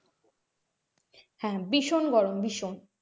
হ্যাঁ ভীষণ গরম ভীষণ,